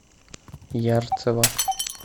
ярцево